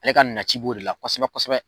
Ale ka naci b'o de la kosɛbɛ kosɛbɛ